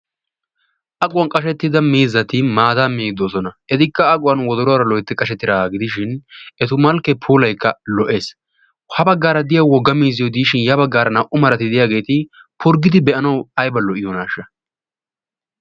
Aquwaa qaashetidda miizzati maataa miiddi doosona. eetikka aquwaan wodoruwaara loytti qashetidaagaa gidishin etu malkkee puulaykka lo"ees. ha baggaara diyyayi miizziyoo giidishin ya baggaara diyiyaa naa"u maarati diyaageti purggidi be"anawu aybba lo"iyoonaasha!